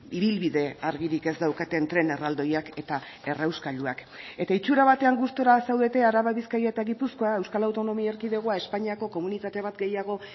ibilbide argirik ez daukaten tren erraldoiak eta errauskailuak eta itsura batean gustura zaudete araba bizkaia eta gipuzkoa euskal autonomia erkidegoa espainiako komunitate bat gehiago